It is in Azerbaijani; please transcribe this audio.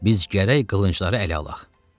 Biz gərək qılıncları ələ alaq.